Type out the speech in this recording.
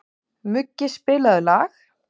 Muggi, spilaðu lag.